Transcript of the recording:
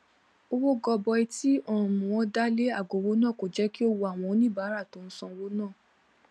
owó gọbọi tí um wọn dá lé aagoọwọ náà kò jẹ kí ó wu àwọn oníbàárà tó ń ṣọ owó ná